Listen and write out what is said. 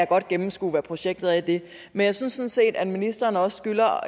godt gennemskue hvad projektet er i det men jeg synes sådan set at ministeren også skylder